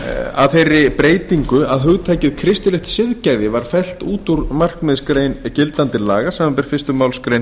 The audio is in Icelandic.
að þeirri breytingu að hugtakið kristilegt siðgæði var fellt út úr markmiðsgrein gildandi laga samanber fyrstu málsgrein